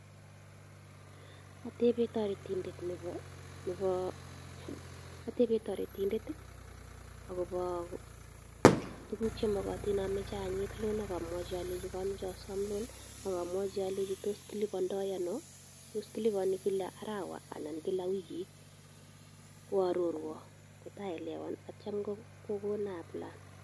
Atebe toretiindet agobo tuguk chemogotin amache anyit loan ak amwochi alenji komoche asom loan. Ak amwochi alenji tos kilibondo ano, tos kiliponi kila arawa, anan kila wikit. Koarorwan kotaaelewan ak kityo kogonon aaplaen.